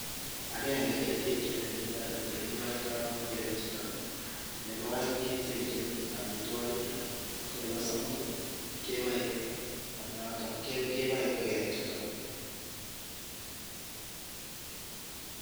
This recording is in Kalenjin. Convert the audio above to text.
Agenge ketekin ole kiboen ngogenichuto, nebo oeng kechengin omitwogik, ko nebo somok ii keboe ingogenichuto.